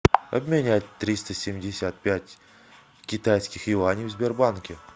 обменять триста семьдесят пять китайских юаней в сбербанке